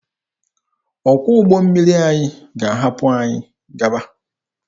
Ọkwọ ụgbọ mmiri anyị ga-ahapụ anyị gawa.